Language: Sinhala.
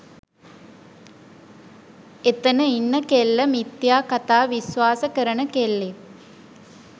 එතන ඉන්න කෙල්ල මිථ්‍යා කථා විශ්වාස කරන කෙල්ලෙක්